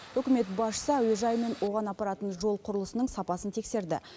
үкімет басшысы әуежай мен оған апаратын жол құрылысының сапасын тексерді